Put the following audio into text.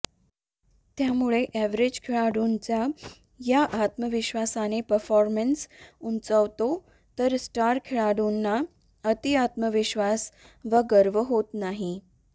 त्यामुळे एवरेज खेळाडूंचा या आत्मविश्वासाने परफॉर्मन्स उंचावतो तर स्टार खेळाडूंना अतिआत्मविश्वास वा गर्व होत नाही